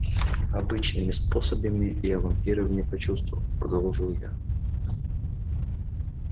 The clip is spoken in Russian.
обычными способами я вампиров не почувствовал продолжил я